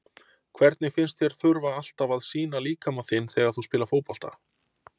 Hvernig finnst þér að þurfa alltaf að sýna líkama þinn þegar þú spilar fótbolta?